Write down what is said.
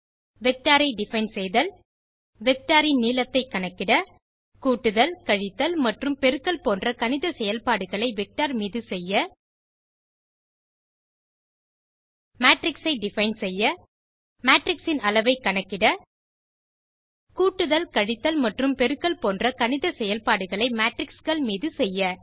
vector ஐ define செய்தல் vector இன் நீளத்தை கணக்கிட கூட்டுதல் கழித்தல் மற்றும் பெருக்கல் போன்ற கணித செயல்பாடுகளை வெக்டர் மீது செய்ய மேட்ரிக்ஸ் ஐ டிஃபைன் செய்ய மேட்ரிக்ஸ் இன் அளவை கணக்கிட கூட்டுதல் கழித்தல் மற்றும் பெருக்கல் போன்ற கணித செயல்பாடுகளை Matrixகள் மீது செய்ய